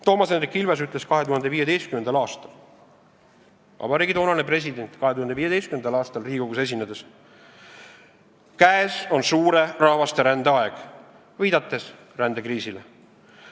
Toomas Hendrik Ilves, vabariigi toonane president, ütles 2015. aastal Riigikogus esinedes, et käes on suure rahvasterändamise aeg, viidates rändekriisile.